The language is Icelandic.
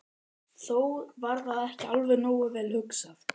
Þó var það ekki alveg nógu vel hugsað.